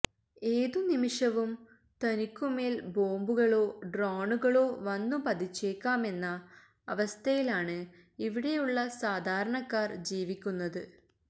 ഏതുനിമിഷവം തനിക്കു മേല് ബോംബുകളോ ഡ്രോണുകളോ വന്നു പതിച്ചേക്കാമെന്ന അവസ്ഥയിലാണ് ഇവിടെയുള്ള സാധാരണക്കാര് ജീവിക്കുന്നത്